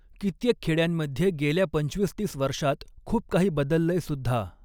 कित्येक खॆड्यांमध्ये गेल्या पंचवीस तीस वर्षात खुप काही बदललंयसुद्धा.